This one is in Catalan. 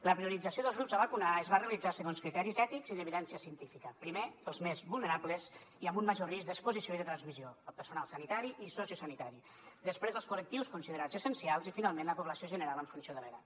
la priorització dels grups a vacunar es va realitzar segons criteris ètics i d’evidència científica primer els més vulnerables i amb un major risc d’exposició i de transmissió el personal sanitari i sociosanitari després els col·lectius considerats essencials i finalment la població general en funció de l’edat